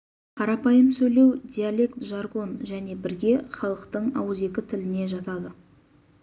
қарапайым сөйлеу диалект жаргон және бірге халықтың ауызекі тіліне жатады